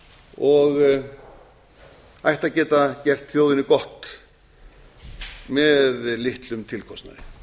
og ætti að geta gert þjóðinni gott með litlum tilkostnaði